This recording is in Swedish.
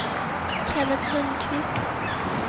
Kennet Lundquist